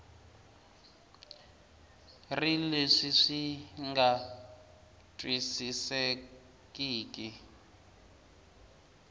ri leswi swi nga twisisekeki